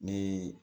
Ni